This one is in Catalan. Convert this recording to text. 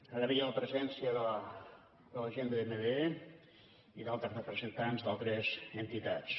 agrair la presència de la gent de dmd i d’altres representants d’altres entitats